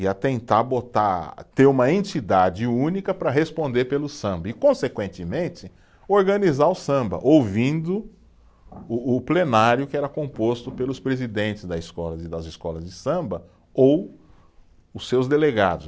e a tentar botar, ter uma entidade única para responder pelo samba e, consequentemente, organizar o samba, ouvindo o o plenário que era composto pelos presidentes da escola de, das escolas de samba ou os seus delegados.